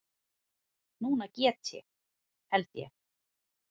Núna get ég. held ég.